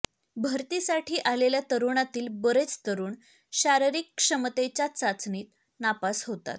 भरतीसाठी आलेल्या तरुणातील बरेच तरुण शारीरिक क्षमतेच्या चाचणीत नापास होतात